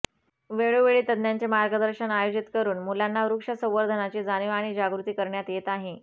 वेळोवेळी तज्ज्ञांचे मार्गदर्शन आयोजित करू न मुलांना वृक्ष संवर्धनाची जाणीव आणि जागृती करण्यात येत आहे